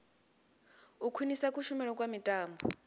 u khwinisa kushumele kha mitambo